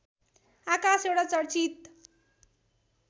आकाश एउटा चर्चित